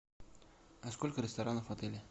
а сколько ресторанов в отеле